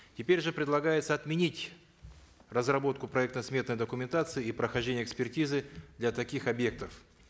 теперь же предлагается отменить разработку проектно сметной документации и прохождения экспертизы для таких объектов